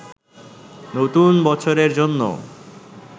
নতুন বছরের জন্য